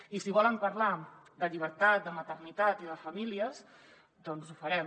i si volen parlar de llibertat de maternitat i de famílies doncs ho farem